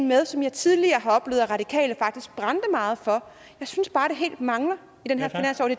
med som jeg tidligere har oplevet at de radikale faktisk brændte meget for jeg synes bare det helt mangler i den